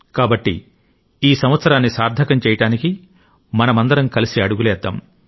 కాబట్టి ఈ సంవత్సరాన్ని సార్థకం చేయడానికి మనమందరం కలిసి అడుగులేద్దాం